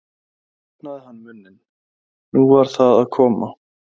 nú opnaði hann munninn. nú var það að koma!